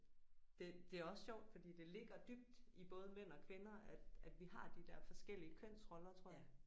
Det det er også sjovt fordi det ligger dybt i både mænd og kvinder at at vi har de der forskellige kønsroller tror jeg